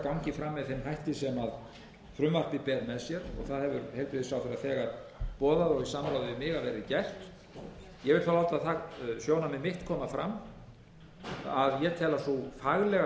fram með þeim hætti sem frumvarpið ber með sér og það hefur heilbrigðisráðherra þegar boðað og í samráði við mig að verði gert ég hef þó alltaf látið það sjónarmið mitt koma fram að ég tel að sú faglega